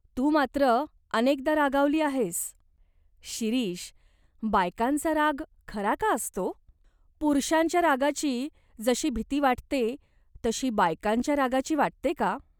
तू मात्र अनेकदा रागावली आहेस." "शिरीष, बायकांचा राग खरा का असतो ? पुरुषांच्या रागाची जशी भीती वाटते, तशी बायकांच्या रागाची वाटते का ?